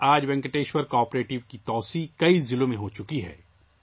آج وینکٹیشورا کوآپریٹیو نے بہت سے اضلاع میں توسیع کی ہے